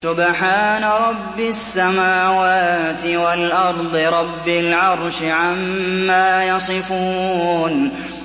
سُبْحَانَ رَبِّ السَّمَاوَاتِ وَالْأَرْضِ رَبِّ الْعَرْشِ عَمَّا يَصِفُونَ